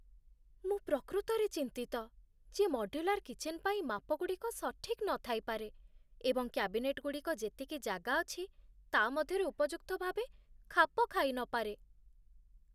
ମୁଁ ପ୍ରକୃତରେ ଚିନ୍ତିତ ଯେ ମଡ୍ୟୁଲାର କିଚେନ୍ ପାଇଁ ମାପଗୁଡ଼ିକ ସଠିକ୍ ନଥାଇପାରେ, ଏବଂ କ୍ୟାବିନେଟ୍‌ଗୁଡ଼ିକ ଯେତିକି ଜାଗା ଅଛି ତା' ମଧ୍ୟରେ ଉପଯୁକ୍ତ ଭାବେ ଖାପ ଖାଇ ନପାରେ।